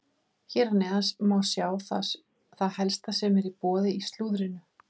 Hér að neðan má sjá það helsta sem er í boði í slúðrinu.